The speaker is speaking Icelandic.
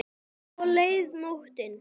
Svo leið nóttin.